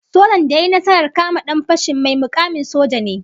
Sojan da ya yi nasarar kama dan fashin, mai mukamin saja ne